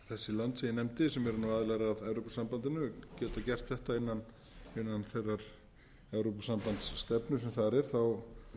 lönd sem ég nefndi sem eru nú aðilar að evrópusambandinu geta gert þetta innan þeirrar evrópusambandsstefnu sem þar er er